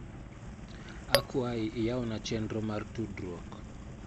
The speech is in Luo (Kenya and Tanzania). Akwayi iyawna chenro mara tudruok.